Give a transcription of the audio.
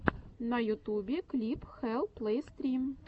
на ютубе клип хэлл плэй стрим